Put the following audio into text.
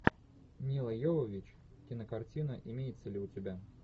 мила йовович кинокартина имеется ли у тебя